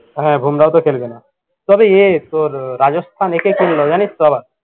হ্যা বোমরাওতো খেলবেনা। তবে এ তোর রাজস্থান একে কিনলো জানিসতো আবার